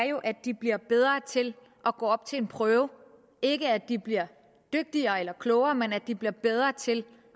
jo at de bliver bedre til at gå op til en prøve ikke at de bliver dygtigere eller klogere men at de bliver bedre til